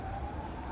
Qoy qəti boş qoy.